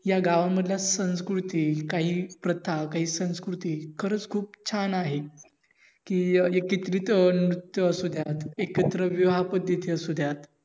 या गावांमधल्या संस्कृती काही प्रथा, काही संस्कृती खरच खूप छान आहेत कि, एकत्रित नृत्य असुद्या, एकत्र विवाह पद्धती असुद्या,